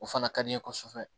O fana ka di n ye kosɛbɛ